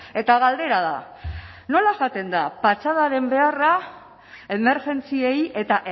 eta galdera da nola jaten da patxadaren beharra emergentziei eta